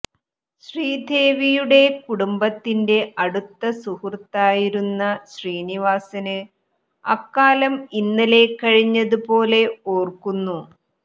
ശ്രീദേവിയുടെ കുടുംബത്തിന്റെ അടുത്ത സുഹൃത്തായിരുന്ന ശ്രീനിവാസന് അക്കാലം ഇന്നലെ കഴിഞ്ഞത് പോലെ ഓര്ക്കുന്നു